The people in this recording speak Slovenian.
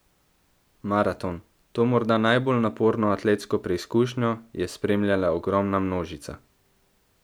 Maraton, to morda najbolj naporno atletsko preizkušnjo, je spremljala ogromna množica.